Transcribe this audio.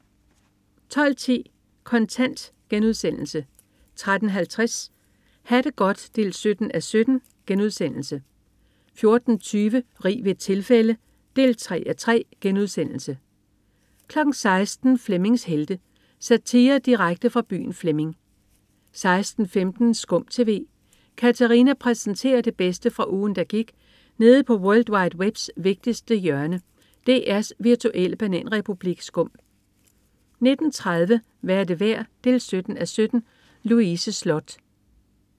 12.10 Kontant* 13.50 Ha' det godt 17:17* 14.20 Rig ved et tilfælde 3:3* 16.00 Flemmings Helte. Satire direkte fra byen Flemming 16.15 SKUM TV. Katarina præsenterer det bedste fra ugen, der gik nede på world wide webs vigtigste hjørne, DR's virtuelle bananrepublik SKUM 19.30 Hvad er det værd? 17:17. Louise Sloth